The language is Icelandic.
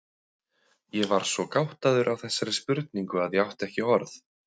Ég var svo gáttaður á þessari spurningu að ég átti ekki orð.